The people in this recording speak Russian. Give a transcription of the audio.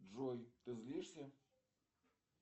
джой ты злишься